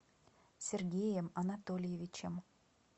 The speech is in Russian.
сергеем анатольевичем